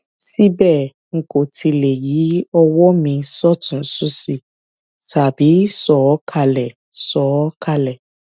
síbẹ n kò tíì lè yí ọwọ mi sọtùnún sósì tàbí sọ ọ kalẹ sọ ọ kalẹ